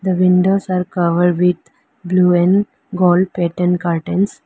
The windows are covered with blue and gold pattern curtains.